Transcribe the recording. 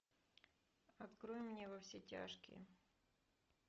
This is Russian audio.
открой мне во все тяжкие